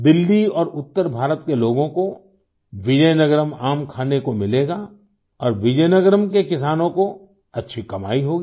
दिल्ली और उत्तर भारत के लोगों को विजयनगरम आम खाने को मिलेगा और विजयनगरम के किसानों को अच्छी कमाई होगी